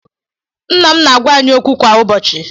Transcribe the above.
Nna m na-agwa agwa anyị okwu kwa ụbọchị.